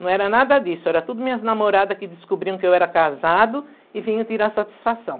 Não era nada disso, era tudo minhas namorada que descobriam que eu era casado e vinha tirar satisfação.